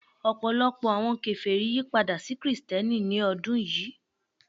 Ọpọlọpọ awọn keferi yipada si Kristiẹniti ni ọdun yii